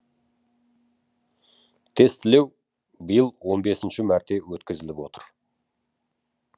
тестілеу биыл он бесінші мәрте өткізіліп отыр